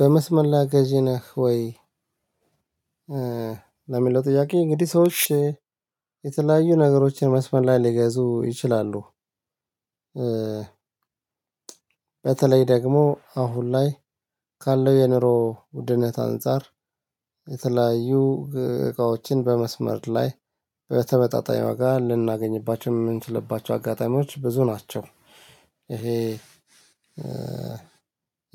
በመስመር ላይ ገዢ ነህ ወይ? ለሚለው ጥያቄ እንግዲህ ሰዎች የተለያዩ ነገሮችን መስመር ላይ ሊገዙ ይችላሉ። በተለይ ደግሞ አሁን ላይ ካለው የኑሮ ውድነት አንፃር የተለያዩ እቃዎችን በመስመር ላይ በተመጣጣኝ ዋጋ ልናገኝባቸው የምንችልባቸው አጋጣሚዎች ብዙ ናቸው። ይሄ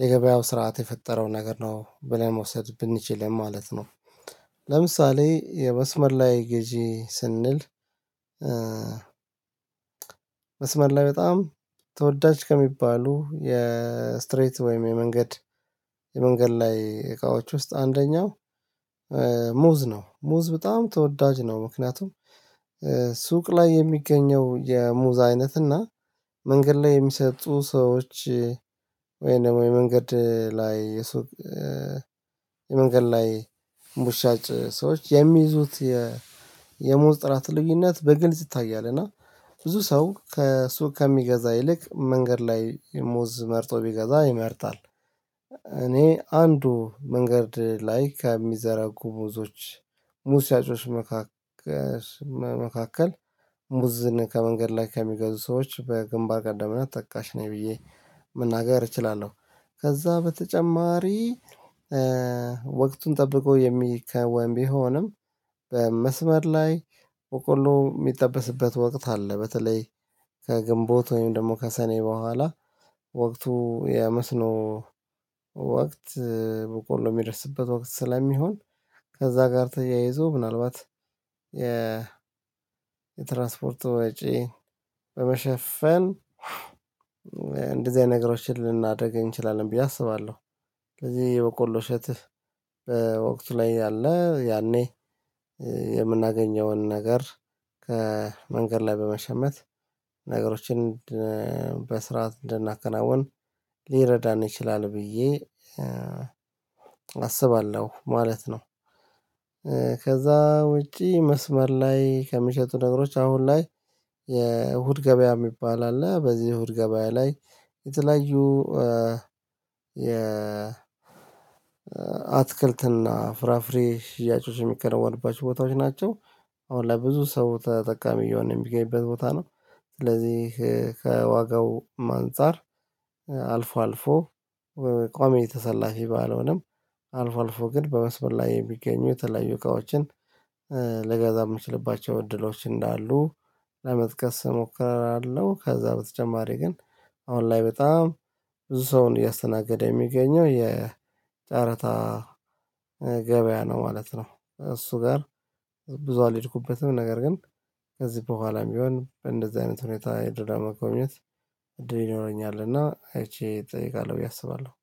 የገበያው ስርዓት የፈጠረው ነገር ነው ብለን መውሰድ ብንችል ማለት ነው። ለምሳሌ የመስመር ላይ ገዢ ስንል። መስመር ላይ በጣም ተወዳጅ ከሚባሉ የስትሬት ወይም የመንገድ የመንገድ ላይ እቃዎች ውስጥ አንደኛው ሙዝ ነው ሙዝ በጣም ተወዳጅ ነው። ምክንያቱም ሱቅ ላይ የሚገኘው የሙዝ አይነት እና መንገድ ላይ የሚሰጡ ሰዎች ወይም ደግሞ የመንገድ ላይ የሱቅ የመንገድ ላይ ሙዝ ሻጭ ሰዎች የሚይዙት የሙዝ ጥራት ልዩነት በግልጽ ይታያል። እና ብዙ ሰው ከሱቅ ከሚገዛ ይልቅ መንገድ ላይ ሙዝ መርጦ ቢገዛ ይመርጣል። እኔ አንዱ መንገድ ላይ ከሚዘረጉ ሙዞች ሙዝ ሻጮች መካከል መካከል ሙዝን ከመንገድ ላይ ከሚገዙ ሰዎች በግንባር ቀደምነት ተጠካሽ ነኝ ብዬ መናገር እችላለሁ። ከዛ በተጨማሪ ወቅቱን ጠብቆ የሚከወን ቢሆንም በመስመር ላይ በቆሎ የሚጠበስበት ወቅት አለ። በተለይ ከግንቦት ወይም ደግሞ ከሰኔ በኋላ ወቅቱ የመስኖ ወቅት በቆሎ የሚደርስበት ወቅት ስለሚሆን ከዛ ጋር ተያይዞ ምናልባት የ የትራንስፖርቱ ወጪ በመሸፈን እንደዚህ አይነት ነገሮችን ልናደርግ እንችላለን ብዬ አስባለሁ። ከዚህ የበቆሎ ሻጭ በወቅቱ ላይ ያለ ያኔ የምናገኘውን ነገር መንገድ ላይ በመሸመት ነገሮችን በስርዓት እንድናከናውን ሊረዳን ይችላል ብዬ አስባለሁ ማለት ነው። ከዛ ውጪ መስመር ላይ ከሚሸጡ ነገሮች አሁን ላይ የእሁድ ገበያ የሚባል አለ በዚህ እሁድ ገበያ ላይ የተለያዩ የ አትክልትና ፍራፍሬ ሽያጮች የሚከነውንባቸው ቦታዎች ናቸው። አሁን ላይ ብዙ ሰው ተጠቃሚ የሆነ የሚገኝበት ቦታ ነው። ስለዚህ ከዋጋው አንፃር አልፎ አልፎ በቋሚ ተሰላፊ ባልሆነም አልፎ አልፎ ግን በመስበር ላይ የሚገኙ ተለያዩ እቃዎችን ለገዛ የምችልባቸው እድሎች እንዳሉ ለመጥቀስ እሞክራለሁ። ከዛ በተጨማሪ ግን አሁን ላይ በጣም ብዙ ሰውን እያስተናገደ የሚገኘው የጨረታ ገበያ ነው ማለት ነው። እሱ ጋር ብዙ አልሄድኩበትም ነገር ግን ከዚህ በኋላም ቢሆን በእንደዚህ አይነት ሁኔታ የድርዳማ ቆምነት እድል ይኖረኛል እና አይቼ እጠይቃለሁ ብዬ አስባለሁ።